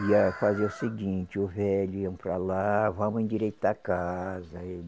Ia fazer o seguinte, o velho iam para lá, vamos endireitar a casa.